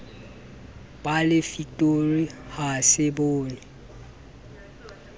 ba lefitori ha se bonwe